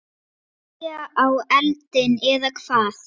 Olía á eldinn, eða hvað?